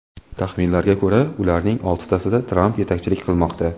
Taxminlarga ko‘ra, ularning oltitasida Tramp yetakchilik qilmoqda.